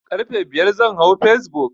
Karfe biyar zan hau facebook